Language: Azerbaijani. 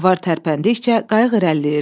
Avar tərpəndikcə qayıq irəliləyirdi.